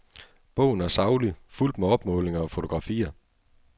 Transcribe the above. Bogen er saglig, fuldt med opmålinger og fotografier.